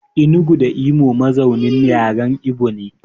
Enugu da Imo mazaunin yaren Ibo ne.